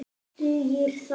Dugir það?